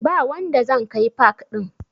Ba wanda zan kai pak ɗin